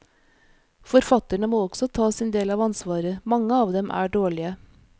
Forfatterne må også ta sin del av ansvaret, mange av dem er dårlige.